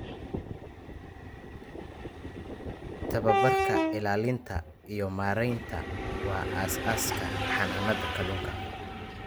Tababarka ilaalinta iyo maareynta waa aasaaska xanaanada kalunka.